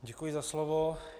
Děkuji za slovo.